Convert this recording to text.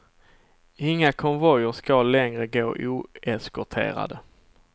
Inga konvojer ska längre gå oeskorterade.